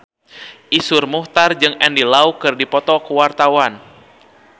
Iszur Muchtar jeung Andy Lau keur dipoto ku wartawan